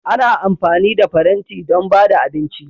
Ana amfani da faranti don ba da abinci.